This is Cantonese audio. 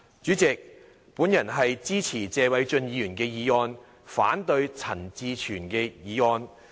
主席，我支持謝偉俊議員的議案，反對陳志全議員的議案。